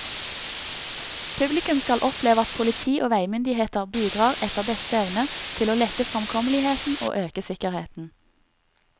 Publikum skal oppleve at politi og veimyndigheter bidrar etter beste evne til å lette fremkommeligheten og øke sikkerheten.